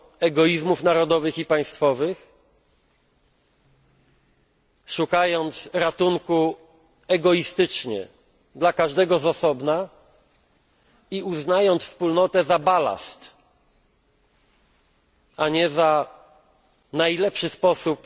egoizmów narodowych i państwowych, szukając egoistycznie ratunku dla każdego z osobna i uznając Wspólnotę za balast, a nie za najlepszy sposób